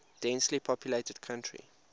densely populated country